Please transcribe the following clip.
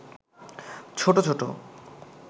ছোট-ছোট